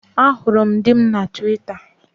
Ahụrụ m di m na Twita